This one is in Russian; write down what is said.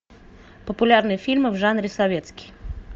популярные фильмы в жанре советский